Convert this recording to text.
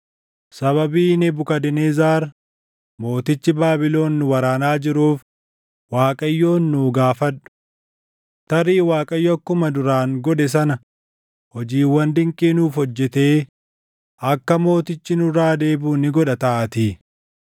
“Sababii Nebukadnezar mootichi Baabilon nu waraanaa jiruuf Waaqayyoon nuu gaafadhu. Tarii Waaqayyo akkuma duraan godhe sana hojiiwwan dinqii nuuf hojjetee akka mootichi nurraa deebiʼu ni godha taʼaatii.”